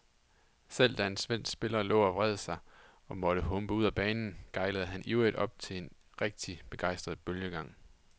Selv da en svensk spiller lå og vred sig og måtte humpe ud af banen, gejlede han ivrigt op til en rigtig begejstret bølgegang.